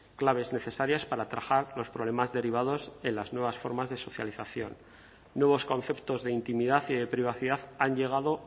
claves necesarias para atajar los problemas derivados en las nuevas formas de socialización nuevos conceptos de intimidad y privacidad han llegado